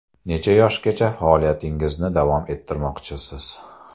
Necha yoshgacha faoliyatingizni davom ettirmoqchisiz?